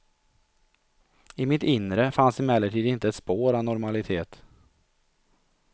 I mitt inre fanns emellertid inte ett spår av normalitet.